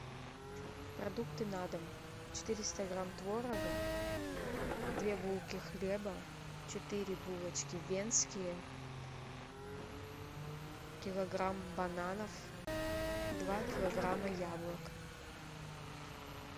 продукты на дом четыреста грамм творога две булки хлеба четыре булочки венские килограмм бананов два килограмма яблок